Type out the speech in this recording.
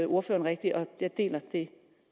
ordføreren rigtigt og jeg deler det